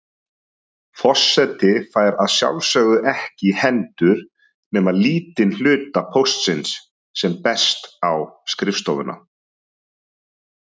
Forseti fær að sjálfsögðu ekki í hendur nema lítinn hluta póstsins sem berst á skrifstofuna.